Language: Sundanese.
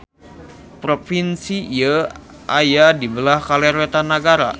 Propinsi ieu aya di beulah kaler-wetan nagara.